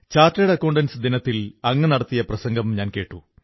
chartered accountants ദിനത്തിൽ അങ്ങു നടത്തിയ പ്രസംഗം ഞാൻ കേട്ടു